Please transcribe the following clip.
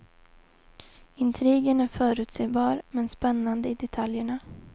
Intrigen är förutsebar, men spännande i detaljerna.